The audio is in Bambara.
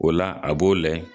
O la a b'o lahɛ